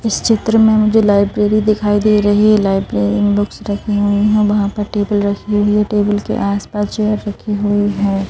इस चित्र में मुझे लाइब्रेरी दिखाई दे रही है लाइब्रेरी रखी हुई है वहां पर टेबल रखी हुई है टेबल के आसपास जो रखी हुई है।